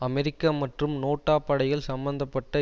அமெரிக்க மற்றும் நேட்டோ படைகள் சம்பந்த பட்ட